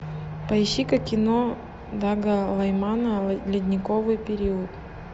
поищи ка кино дага лаймана ледниковый период